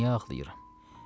Niyə ağlayıram?